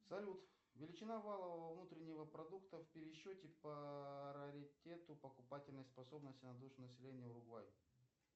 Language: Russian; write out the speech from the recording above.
салют величина валового внутреннего продукта в пересчете по раритету покупательной способности на душу населения уругвай